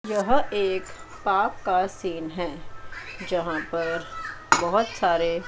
यह एक पाक का सीन है जहां पर बहोत सारे--